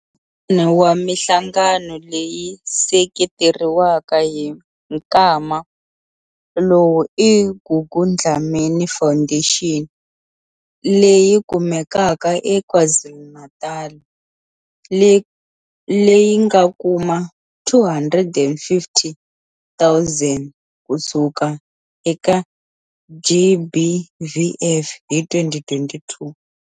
Wun'wana wa mihlangano leyi seketeriwaka hi nkwama lowu i Gugu Dlamini Foundation leyi kumekaka eKwaZulu-Natal, leyi nga kuma R250 000 kusuka eka GBVF hi 2022.